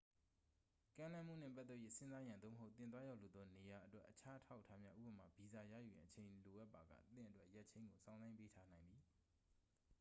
ကမ်းလှမ်းမှုနှင့် ပတ်သက်၍ စဉ်းစားရန် သို့မဟုတ် သင်သွားရောက်လိုသော နေရာာအတွက် အခြားအထောက်အထားများ ဥပမာ- ဗီဇာ ရယူရန် အချိန်ယူလိုပါက သင့်အတွက် ရက်ချိန်းကို စောင့်ဆိုင်းပေးထားနိုင်သည်။